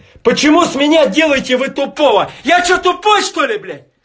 почему с меня делайте вы тупого я что тупой что ли